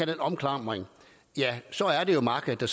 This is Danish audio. den omklamring ja så er det jo markedet der